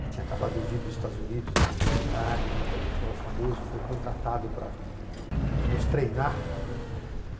que tinha acabado de vir dos Estados Unidos, da universidade, era um intelectual famoso, foi contratado para eh nos treinar, não é.